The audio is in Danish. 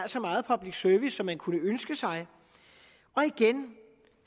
så meget public service som man kunne ønske sig igen